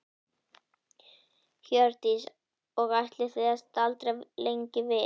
Hjördís: Og ætlið þið að staldra lengi við?